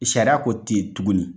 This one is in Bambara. Sariya ko tɛ ye tuguni.